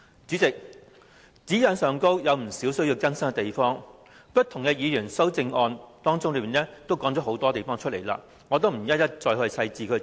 主席，《規劃標準》有不少需要更改的地方，各位議員提出的修正案已經提及有關詳情，我不再詳細複述。